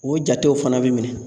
O jatew fana bɛ minɛ